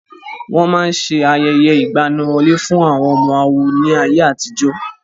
Wọ́n máa ṣe ayẹyẹ ìgbaniwọlé fún àwọn ọmọ àwo ní ayé àtijó.